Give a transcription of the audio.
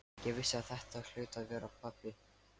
Ég vissi að þetta hlaut að vera pabbi.